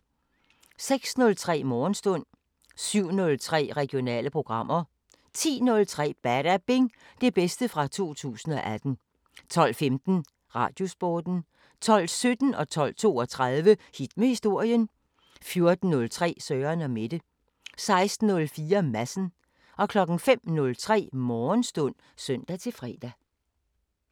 06:03: Morgenstund 07:03: Regionale programmer 10:03: Badabing: Det bedste fra 2018 12:15: Radiosporten 12:17: Hit med historien 12:32: Hit med historien 14:03: Søren & Mette 16:04: Madsen 05:03: Morgenstund (søn-fre)